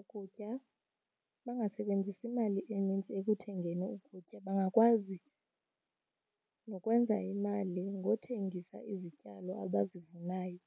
ukutya, bangasebenzisi imali enintsi ekuthengeni ukutya. Bangakwazi nokwenza imali ngothengisa izityalo abazivunayo.